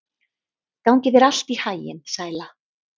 Gangi þér allt í haginn, Sæla.